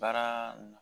Baara